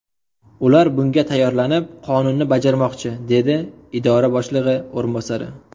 Ular bunga tayyorlanib, qonunni bajarmoqchi”, dedi idora boshlig‘i o‘rinbosari.